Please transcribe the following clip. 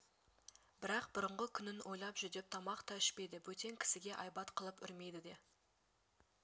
бірақ бұрынғы күнін ойлап жүдеп тамақ та ішпейді бөтен кісіге айбат қылып үрмейді де